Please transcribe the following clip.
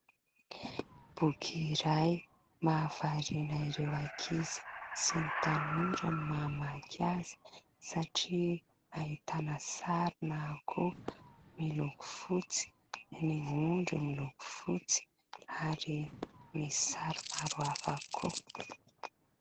Boky iray mahavariana ireo ankizy sy ny tanora ny mamaky azy, satria ahitana sarina akoho miloko fotsy, ny ondry miloko fotsy ary misy sary maro hafa koa.